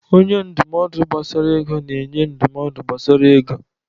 Onye ndụmọdụ gbasara ego na-enye ndụmọdụ gbasara ego.